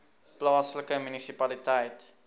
plaaslike munisipaliteit